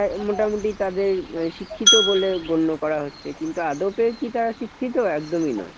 আহ মোটামুটি তাদের আহ শিক্ষিত বলে গণ্য করা হচ্ছে, কিন্তু আদপেও তারা শিক্ষিত? একদমই নয়।